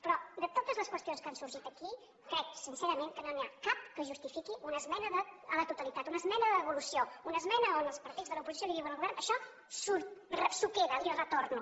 però de totes les qüestions que han sorgit aquí crec sincerament que no n’hi ha cap que justifiqui una esmena a la totalitat una esmena de devolució una esmena on els partits de l’oposició li diuen al govern això s’ho queda li ho retorno